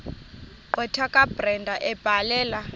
gqwetha kabrenda ebhalela